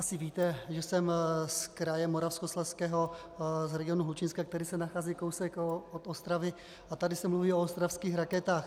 Asi víte, že jsem z kraje Moravskoslezského, z regionu Hlučínska, který se nachází kousek od Ostravy, a tady se mluví o ostravských raketách.